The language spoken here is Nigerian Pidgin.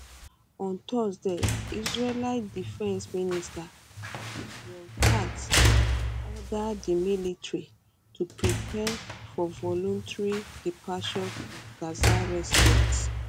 on thursday israeli defence minister israel katz order di military to prepare for voluntary departure of gaza residents